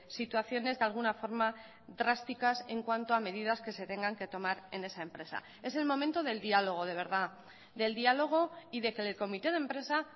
situaciones de alguna forma drásticas en cuanto a medidas que se tengan que tomar en esa empresa es el momento del diálogo de verdad del diálogo y de que el comité de empresa